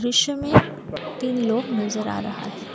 दृश्य में तीन लोग नजर आ रहा है।